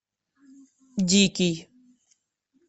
дикий